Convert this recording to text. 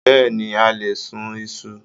Bẹ́ẹ̀ni, a lè sún Isu.